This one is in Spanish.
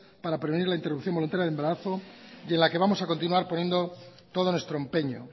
para prevenir la interrupción voluntario del embarazo y en la que vamos a continuar poniendo todos nuestro empeño